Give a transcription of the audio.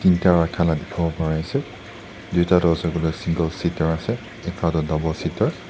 rakha la dikhawo pararease tuita tu ase koilae single seater ase ekta toh double seater .